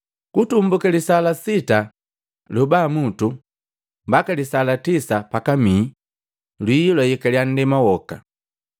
Kutumbuka lisaa la sita lyobamutu mbaka lisaa la tisa pakamii lwii lwayekalya nndema woka.